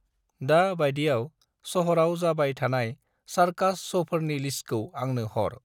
दा बायदियाव शहराव जाबाय थानाय सरकस शौफोरनि लिस्तखौ आंनो हर।